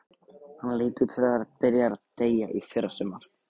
Hann leit út fyrir að vera byrjaður að deyja í fyrrasumar.